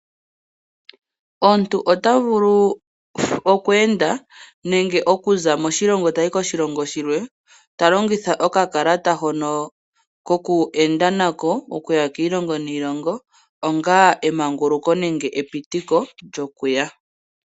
Omuntu otovulu okweenda nenge okuzamo moshilongo toyi koshilongo shilwe, talongitha okakalata hono koku enda nako , okuya kiilongo niilongo onga emanguluko nenge epitiko lyokuya.